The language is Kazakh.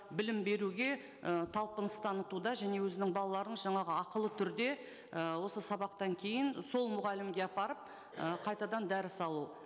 білім беруге ы талпыныс танытуда және өзінің балаларын жаңағы ақылы түрде ы осы сабақтан кейін сол мұғалімге апарып ы қайтадан дәріс алу